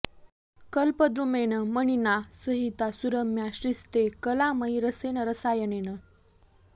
कल्पद्रुमेण मणिना सहिता सुरम्या श्रीस्ते कला मयि रसेन रसायनेन